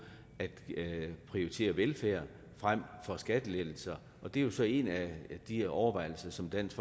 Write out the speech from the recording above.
at prioritere velfærd frem for skattelettelser og det er så en af de overvejelser som dansk